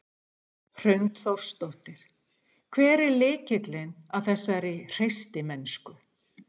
Hrund Þórsdóttir: Hver er lykillinn að þessari hreystimennsku?